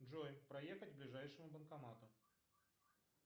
джой проехать к ближайшему банкомату